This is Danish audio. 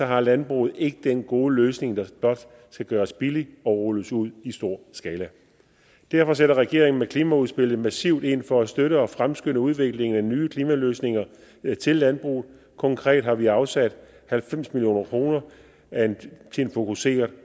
har landbruget ikke den gode løsning der blot skal gøres billig og rulles ud i stor skala derfor sætter regeringen med klimaudspillet massivt ind for at støtte og fremskynde udviklingen af nye klimaløsninger til landbruget konkret har vi afsat halvfems million kroner til en fokuseret